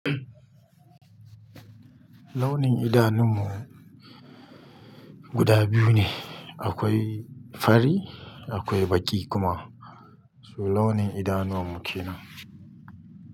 Launin idanun mu guda biyu ne, akwai fari akwai baƙi kuma. Su launin idanuwan mu kenan.